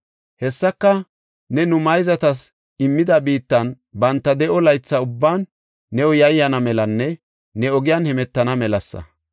Hessika ne nu mayzatas immida biittan banta de7o laytha ubban new yayyana melanne ne ogiyan hemetana melasa.